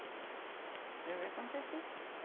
É o que aconteci.